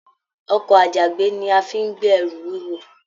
Ọkọ àjàgbé ní a fí n gbé ẹrù wuwo.